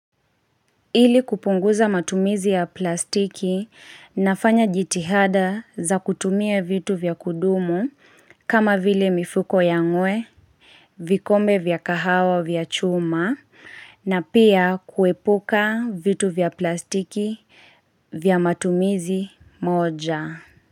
Ili kupunguza matumizi ya plastiki nafanya jitihada za kutumia vitu vya kudumu kama vile mifuko ya ngwe vikombe vya kahawa vya chuma na pia kuepuka vitu vya plastiki vya matumizi moja.